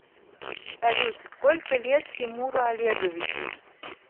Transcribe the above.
салют сколько лет тимуру олеговичу